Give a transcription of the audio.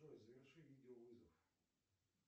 джой заверши видео вызов